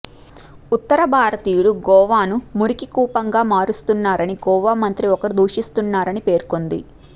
ఉత్తర భారతీయులు గోవాను మురికికూపంగా మారుస్తున్నారని గోవా మంత్రి ఒకరు దూషిస్తున్నారని పేర్కొంది